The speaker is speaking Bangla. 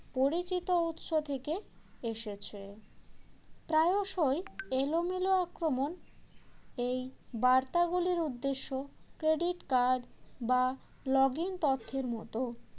পরিচিত উৎস থেকে এসেছে প্রায়শই এলোমেলো আক্রমণ এই বার্তাগুলির উদ্দেশ্য credit card বা login তথ্যের মতো